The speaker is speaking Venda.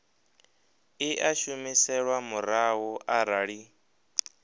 i a humiselwa murahu arali